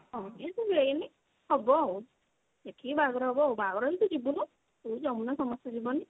age ତ ହେଇନି ହବ ଆଉ ସେଠି ବାହାଘର ହବ ଆଉ ବାହାଘର ହେଲେ ତୁ ଯିବୁନୁ ତୁ ଯମୁନା ସମସ୍ତେ ଯିବନି।